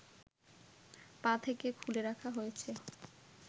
পা থেকে খুলে রাখা হয়েছে